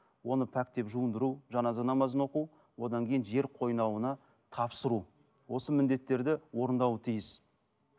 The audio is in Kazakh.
оны пәктеп жуындыру жаназа намазын оқу одан кейін жер қойнауына тапсыру осы міндеттерді орындауы тиіс